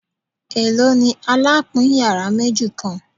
Elo ni alapin yara meji kan